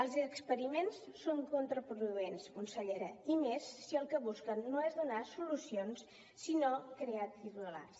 els experiments són contraproduents consellera i més si el que busquen no és donar solucions sinó crear titulars